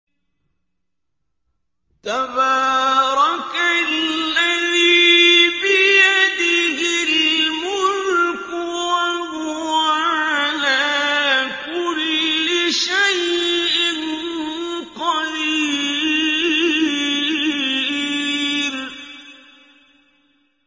تَبَارَكَ الَّذِي بِيَدِهِ الْمُلْكُ وَهُوَ عَلَىٰ كُلِّ شَيْءٍ قَدِيرٌ